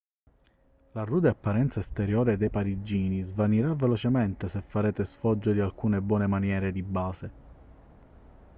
la rude apparenza esteriore dei parigini svanirà velocemente se farete sfoggio di alcune buone maniere di base